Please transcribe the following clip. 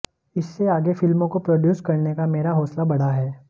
इससे आगे फिल्मों को प्रोड्यूस करने का मेरा हौसला बढ़ा है